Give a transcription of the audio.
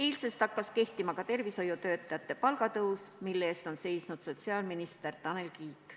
Eilsest hakkas kehtima ka tervishoiutöötajate palgatõus, mille eest on seisnud sotsiaalminister Tanel Kiik.